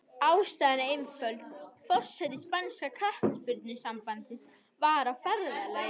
Ástæðan er einföld, forseti spænska knattspyrnusambandsins var á ferðalagi.